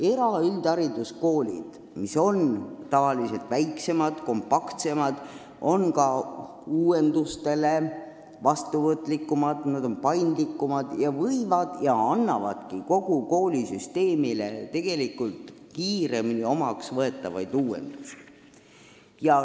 Eraüldhariduskoolid, mis on tavaliselt väiksemad ja kompaktsemad, on ka uuendustele vastuvõtlikumad, nad on paindlikumad, nad võivad võtta ja võtavadki kiiremini omaks kogu koolisüsteemile tegelikult vajalikke uuendusi.